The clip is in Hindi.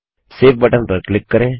सेव बटन पर क्लिक करें